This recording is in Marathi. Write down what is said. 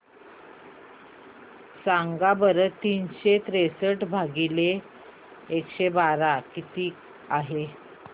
सांगा बरं तीनशे त्रेसष्ट भागीला एकशे बारा किती आहे